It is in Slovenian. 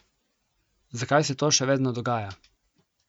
Zakaj se to še vedno dogaja?